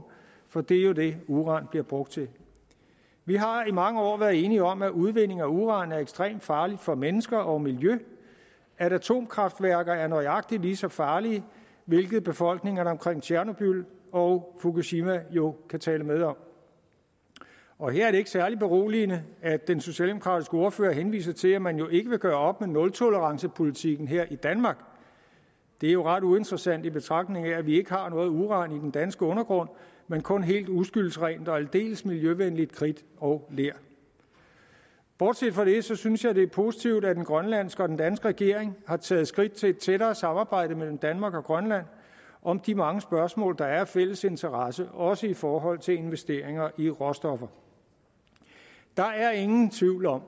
for det er jo det uran bliver brugt til vi har i mange år været enige om at udvinding af uran er ekstremt farligt for mennesker og miljø og at atomkraftværker er nøjagtig lige så farlige hvilket befolkningerne omkring tjernobyl og fukushima jo kan tale med om og her er det ikke særlig beroligende at den socialdemokratiske ordfører henviser til at man jo ikke vil gøre op med nultolerancepolitikken her i danmark det er jo ret uinteressant i betragtning af at vi ikke har noget uran i den danske undergrund men kun helt uskyldsrent og aldeles miljøvenligt kridt og ler bortset fra det synes jeg det er positivt at den grønlandske og den danske regering har taget skridt til et tættere samarbejde mellem danmark og grønland om de mange spørgsmål der er af fælles interesse også i forhold til investeringer i råstoffer der er ingen tvivl om